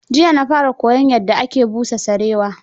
Jiya na fara koyon yadda ake busa sarewa.